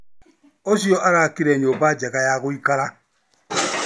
Ũcio arakire nyũmba njega ya gũikara